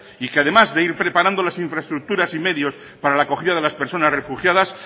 y que además de ir preparando las infraestructuras y medios para la acogida de las personas refugiadas